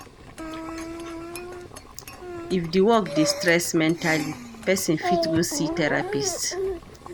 If di work dey stress mentally, person fit go see therapist